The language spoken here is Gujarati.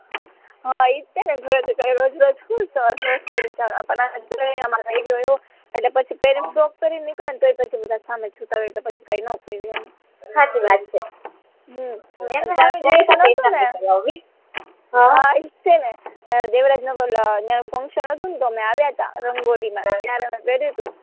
હમ દેવરાજનગર નયા ફંક્સન હતું ને તો અમે આવ્યા હત રંગોળી માં ત્યારે પેર્યું હતું